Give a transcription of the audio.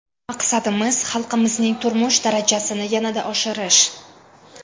Maqsadimiz xalqimizning turmush darajasini yanada oshirish.